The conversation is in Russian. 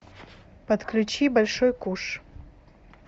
подключи большой куш